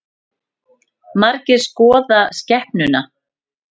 Margir skoða skepnuna